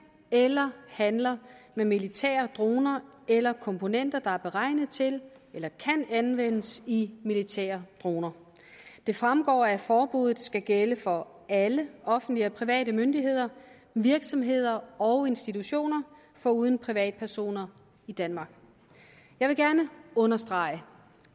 eller handler med militære droner eller komponenter der er beregnet til eller kan anvendes i militære droner det fremgår at forbuddet skal gælde for alle offentlige og private myndigheder virksomheder og institutioner foruden privatpersoner i danmark jeg vil gerne understrege